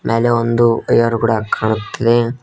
ಮ್ಯಾಲೆ ಒಂದು ವಯರ್ ಕೂಡ ಕಾಣುತ್ತಿದೆ.